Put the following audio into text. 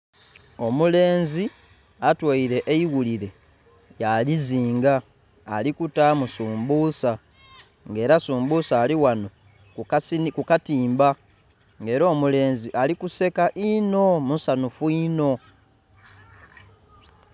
Omulenzi atoire eighulire ya lizinga ali kutaamu sumbusa nga era sumbusa ali ghano ku katimba nga era omulenzi alikuseka einho misanhufu einho.